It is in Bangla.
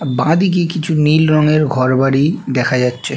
বাঁদিকে কিছু নীল রঙের ঘরবাড়ি দেখা যাচ্ছে--